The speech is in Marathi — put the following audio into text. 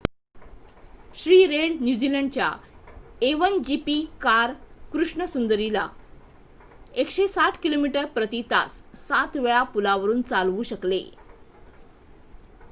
श्री रेड न्यूझीलंडच्या a1gp कार कृष्ण सुंदरी ला 160 किमी/प्रती तास 7 वेळा पुलावरून चालवू शकले